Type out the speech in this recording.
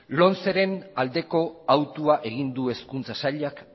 lomceren aldeko hautua egin du hezkuntza sailak